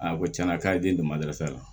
A ko tiɲɛna k'a ye den di ma deli fana